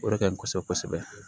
O de ka ɲi kosɛbɛ kosɛbɛ